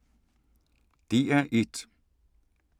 DR1